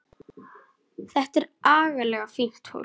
Þetta er agalega fínt fólk.